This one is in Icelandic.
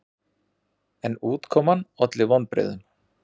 En útkoman olli vonbrigðum.